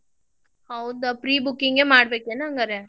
ಹೌದ pre booking ಮಾಡ್ಬೇಕೇನ್ ಹಂಗರ್?